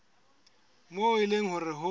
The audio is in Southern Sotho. moo e leng hore ho